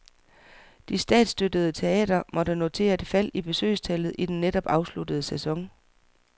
De statsstøttede teatre måtte notere et fald i besøgstallet i den netop afsluttede sæson.